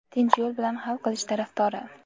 tinch yo‘l bilan hal qilish tarafdori.